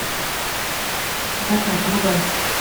закат врубай